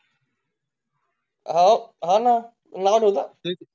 हा ना नाद होता तेज